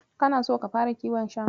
Kana so ka fara kiwon shanu?